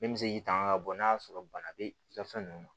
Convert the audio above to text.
Min bɛ se k'i tanga bɔ n'a y'a sɔrɔ bana bɛ i ka fɛn ninnu na